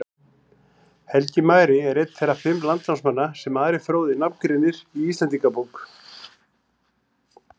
Helgi magri er einn þeirra fimm landnámsmanna sem Ari fróði nafngreinir í Íslendingabók.